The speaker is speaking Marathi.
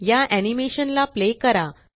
या एनीमेशन ला प्ले करा